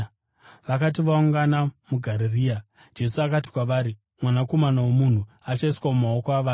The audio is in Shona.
Vakati vaungana muGarirea Jesu akati kwavari, “Mwanakomana woMunhu achaiswa mumaoko avanhu.